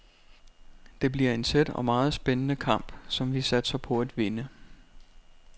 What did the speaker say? Det bliver en tæt og meget spændende kamp, som vi satser på at vinde.